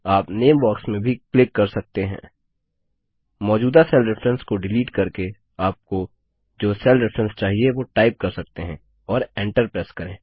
आप name box में भी क्लिक कर सकते हैं मौजूदा सेल रेफरेंस को डिलीट करके आपको जो सेल रेफरेंस चाहिए वो टाइप कर सकते हैं और Enter प्रेस करें